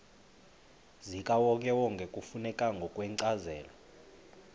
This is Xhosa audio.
zikawonkewonke kufuneka ngokwencazelo